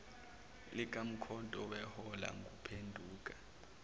likamkhonto beholwa nguphenduka